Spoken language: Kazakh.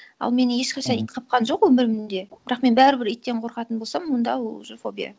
ал мені ешқашан ит қапқан жоқ өмірімде бірақ мен бәрібір иттен қорқатын болсам онда ол уже фобия